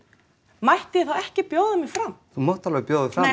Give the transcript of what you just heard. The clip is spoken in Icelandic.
mætti ég þá ekki bjóða mig fram þú mátt alveg bjóða